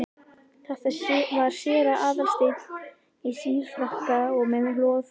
Þetta var séra Aðal steinn, í síðfrakka og með loðhúfu.